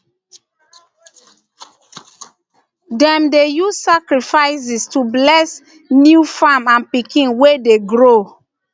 dem dey use sacrifices to bless new farm and pikin wey dey grow